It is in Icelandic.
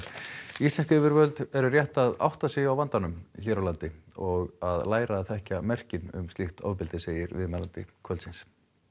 íslensk yfirvöld eru rétt að átta sig á vandanum hér á landi og að læra að þekkja merkin um slíkt ofbeldi segir viðmælandi kvöldsins